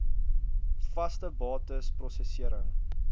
vaste bates prosesserings